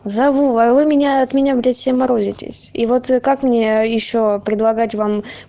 зову а вы меня от меня блять все морозитесь и вот как мне ещё предлагать вам